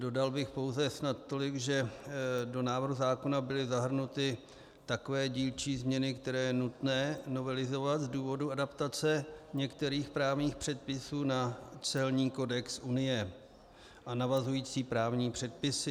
Dodal bych pouze snad tolik, že do návrhu zákona byly zahrnuty takové dílčí změny, které je nutné novelizovat z důvodu adaptace některých právních předpisů na celní kodex Unie a navazující právní předpisy.